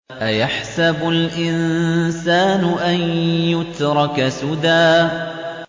أَيَحْسَبُ الْإِنسَانُ أَن يُتْرَكَ سُدًى